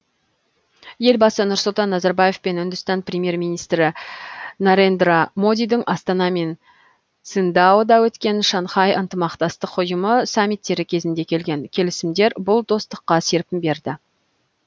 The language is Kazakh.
елбасы нұрсұлтан назарбаев пен үндістан премьер министрі нарендра модидің астана мен циндаода өткен шанхай ынтымақтастық ұйымы саммиттері кезінде келген келісімдері бұл достыққа серпін берді